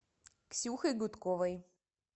ксюхой гудковой